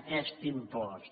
aquest impost